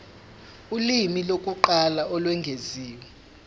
ulimi lokuqala olwengeziwe